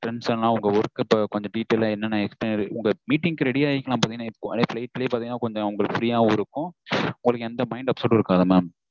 tension இல்லாம உங்க work detail என்னனேன்ன explain உங்க meeting க்கு ready ஆகிக்குலாம் flight லே பாத்தீங்கனா free யாவும் இருக்கும் உங்களுக்கு எந்த mind upset ம் இருக்காது mam